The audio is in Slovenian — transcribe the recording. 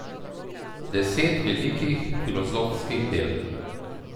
Deset velikih filozofskih del.